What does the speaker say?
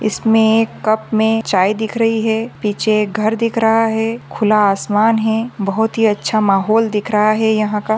इसमे कप मे चाय दिख रही है पीछे घर दिख रहा है खुला आसमान है बहुत ही अच्छा माहोल दिख रहा है यहा का।